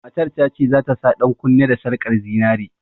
Matar ta ce za ta sa ɗankunne da sarƙar zinare.